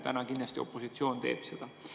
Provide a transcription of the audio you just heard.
Täna kindlasti opositsioon teeb seda.